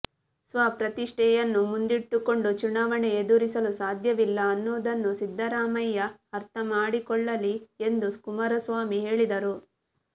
ಸ್ವ ಪ್ರತಿಷ್ಠೆಯನ್ನು ಮುಂದಿಟ್ಟುಕೊಂಡು ಚುನಾವಣೆ ಎದುರಿಸಲು ಸಾಧ್ಯವಿಲ್ಲ ಅನ್ನೋದನ್ನು ಸಿದ್ದರಾಮಯ್ಯ ಅರ್ಥ ಮಾಡಿಕೊಳ್ಳಲಿ ಎಂದು ಕುಮಾರಸ್ವಾಮಿ ಹೇಳಿದರು